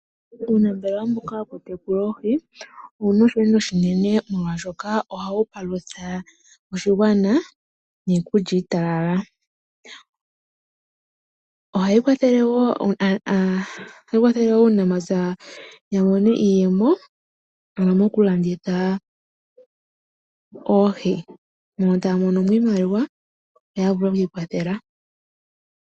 Uunafaalama mbuka wokutekula oohi owuna oshilonga oshinene molwaashoka ohawu palutha oshigwana niikulya iitalala. Ohayi kwathele woo aanafaalama ya mone iiyemo ano mokulanditha oohi mono taya mono mo iimaliwa yo ya vule okwi ikwathela.